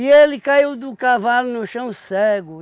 E ele caiu do cavalo no chão cego.